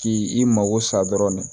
K'i mago sa dɔrɔn